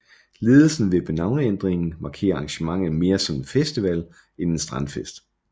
Ledelsen vil med navneændringen markere arrangementet mere som en festival end en strandfest